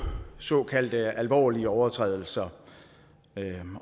såkaldte alvorlige overtrædelser